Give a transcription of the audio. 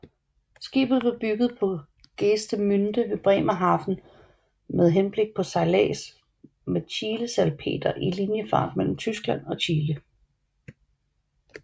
Skibet blev bygget på Geestemünde ved Bremerhaven med henblik på sejlads med chilesalpeter i liniefart mellem Tyskland og Chile